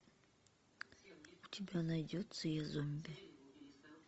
у тебя найдется я зомби